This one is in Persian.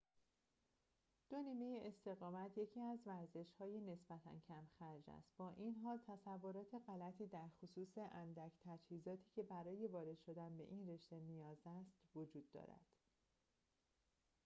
دو نیمه‌استقامت یکی از ورزش‌های نسبتاً کم‌خرج است با این حال تصورات غلطی درخصوص اندک تجهیزاتی که برای وارد شدن به این رشته نیاز است وجود دارد